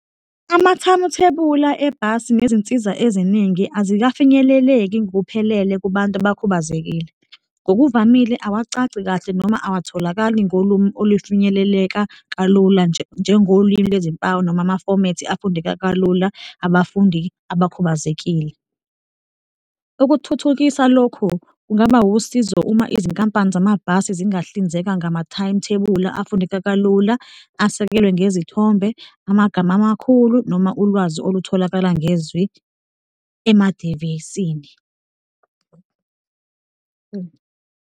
Amathamuthebula ebhasi nezinsiza eziningi azikafinyeleleki ngokuphelele kubantu abakhubazekile. Ngokuvamile, awacaci kahle noma awatholakali ngolumi olufinyeleleka kalula, njengolimi lwezimpawu noma amafomethi afundeka kalula abafundi abakhubazekile. Ukuthuthukisa lokhu kungaba usizo uma izinkampani zamabhasi zingahlinzeka ngama-timetable afundeka kalula, asekelwe ngezithombe, amagama amakhulu noma ulwazi olutholakala ngezwi emadivisini.